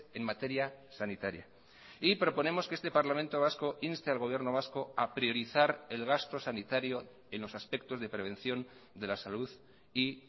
en materia sanitaria y proponemos que este parlamento vasco inste al gobierno vasco a priorizar el gasto sanitario en los aspectos de prevención de la salud y